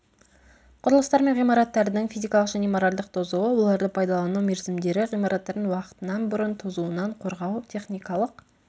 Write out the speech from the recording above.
құрылыстар мен ғимараттардың физикалық және моральдық тозуы оларды пайдалану мерзімдері ғимараттардың уақытынан бұрын тозуынан қорғау техникалық